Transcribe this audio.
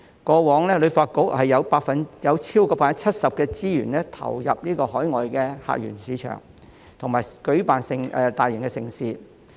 過往，旅發局超過 70% 的資源都是投入到海外客源市場和舉辦大型盛事。